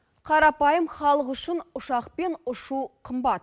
қарапайым халық үшін ұшақпен ұшу қымбат